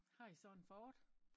Har i sådan Ford?